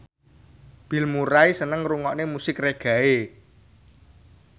Bill Murray seneng ngrungokne musik reggae